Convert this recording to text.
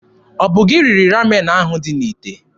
Ọ bụ gị riri Ramen ahụ dị n'ite?